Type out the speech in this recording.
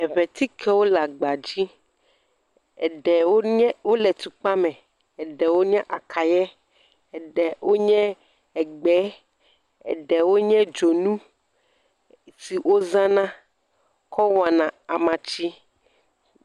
Eŋetikewo le agba dzi. Eɖewo nye wole tukpa me. Eɖewo nye akaye, eɖewo nye egbe, eɖewo nye dzonu si wozana kɔ wɔna amatsi.